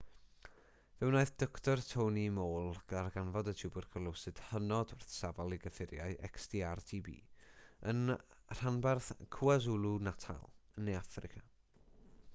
fe wnaeth dr tony moll ddarganfod y twbercwlosis hynod wrthsafol i gyffuriau xdr-tb yn rhanbarth kwazulu-natal yn ne affrica